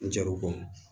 N jaw kɔnɔ